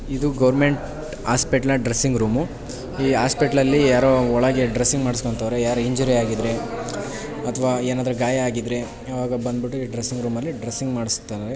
ಇದು government hospital ನ dressing room ಈ ಹಾಸ್ಪಿಟಲ್ಲಲ್ಲಿ ಯಾರೋ ಒಳಗೆ ಡ್ರೆಸ್ಸಿಂಗ್ ಮಾಡ್ಸ್ಕೊಂತಾವ್ರೆ ಯಾರೋ ಇಂಜ್ಯೂರಿ ಆಗಿದ್ರೆ ಅಥವಾ ಏನಾದ್ರೆ ಗಾಯ ಆಗಿದ್ರೆ ಆವಾಗ ಬಂದ್ಬಿಟ್ಟು ಈ ಡ್ರೆಸ್ಸಿಂಗ್ ರೂಮ್ ಅಲಿ ಡ್ರೆಸ್ಸಿಂಗ್ ಮಾಡ್ಸತ್ತಾರೆ.